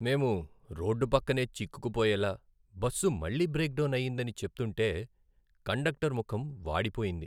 మేము రోడ్డు పక్కనే చిక్కుకుపోయేలా, బస్సు మళ్ళీ బ్రేక్ డౌన్ అయిందని చెప్తుంటే కండక్టర్ ముఖం వాడిపోయింది.